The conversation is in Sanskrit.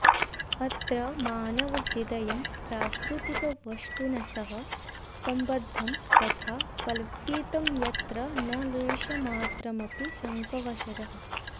अत्र मानवहृदयं प्राकृतिकवस्तुना सह सम्बद्धं तथा कल्पितं यत्र न लेशमात्रमपि शङ्कावसरः